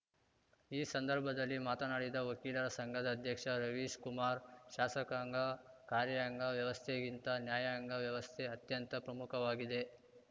ಈ ಸಂದರ್ಭದಲ್ಲಿ ಮಾತನಾಡಿದ ವಕೀಲರ ಸಂಘದ ಅಧ್ಯಕ್ಷ ರವೀಶ್‌ಕುಮಾರ್‌ ಶಾಸಕಾಂಗ ಕಾರ್ಯಾಂಗ ವ್ಯವಸ್ಥೆಗಿಂತ ನ್ಯಾಯಾಂಗ ವ್ಯವಸ್ಥೆ ಅತ್ಯಂತ ಪ್ರಮುಖವಾಗಿದೆ